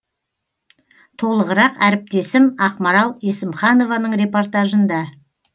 толығырақ әріптесім ақмарал есімханованың репортажында